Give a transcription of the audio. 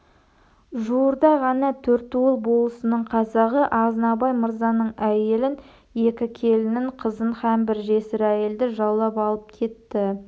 жуырда ғана төртуыл болысының қазағы азнабай мырзаның әйелін екі келінін қызын һәм бір жесір әйелді жаулап алып кетті